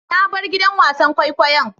Na bar gidan wasan kwaikwayon.